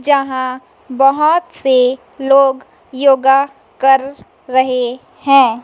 जहां बहोत से लोग योगा कर रहे हैं।